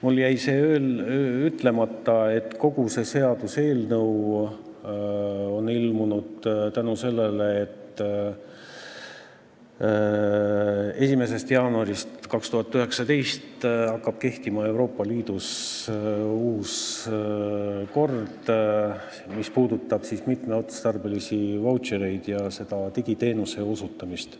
Mul jäi see veel ütlemata, et kogu see seaduseelnõu on olemas sellepärast, et 1. jaanuarist 2019 hakkab Euroopa Liidus kehtima uus kord, mis puudutab mitmeotstarbelisi vautšereid ja seda digiteenuse osutamist.